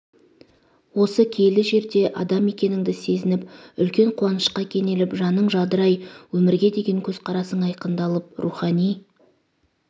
осы киелі жерде адам екеніңді сезініп үлкен қуанышқа кенеліп жаның жадырай өмірге деген көзқарасың айқындалып рухани